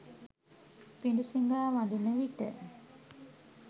පිඬුසිඟා වඩින විට